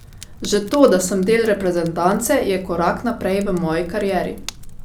Že to, da sem del reprezentance, je korak naprej v moji karieri.